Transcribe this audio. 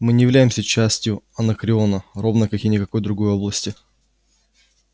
мы не являемся частью анакреона ровно как и никакой другой области